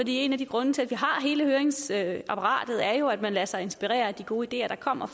en af grundene til at vi har hele høringsapparatet er jo at man lader sig inspirere af de gode ideer der kommer